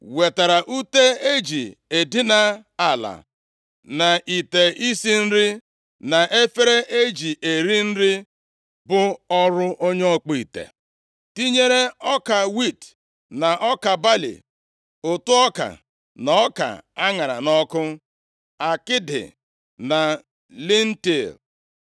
wetara ute e ji edina ala, na ite isi nri, na efere e ji eri nri bụ ọrụ onye ọkpụ ite. Tinyere ọka wiiti na ọka balị, ụtụ ọka na ọka a ṅara nʼọkụ, akịdị na lentil.